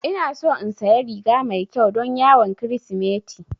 Ina so in saya riga mai ƙyau don yawon kirismeti